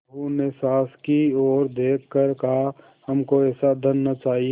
बहू ने सास की ओर देख कर कहाहमको ऐसा धन न चाहिए